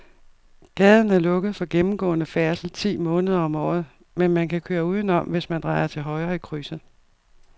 Gaden er lukket for gennemgående færdsel ti måneder om året, men man kan køre udenom, hvis man drejer til højre i krydset.